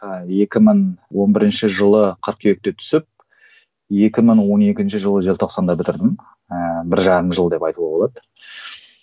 ыыы екі мың он бірінші жылы қыркүйекте түсіп екі мың он екінші жылы желтоқсанда бітірдім ыыы бір жарым жыл деп айтуға болады